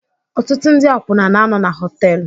Ọtụtụ ndị akwụna na-anọ na họtel